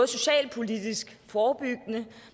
socialpolitisk forebyggende